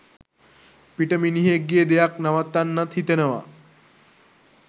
පිට මිනිහෙක්ගේ දෙයක් නවත්වනන් හිතනවා.